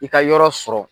I ka yɔrɔ sɔrɔ